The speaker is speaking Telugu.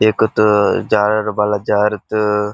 ఎక్కుతూ జారుడు బల్ల జారుతు --